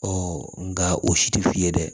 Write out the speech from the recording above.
nka o si tɛ f'i ye dɛ